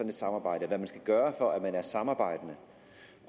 et samarbejde hvad man skal gøre for at være samarbejdende